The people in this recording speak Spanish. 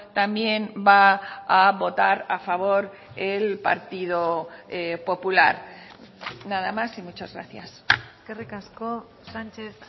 también va a votar a favor el partido popular nada más y muchas gracias eskerrik asko sánchez